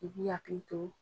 I ki hakili to.